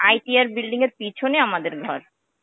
ITI building এর পিছনে আমাদের ঘর.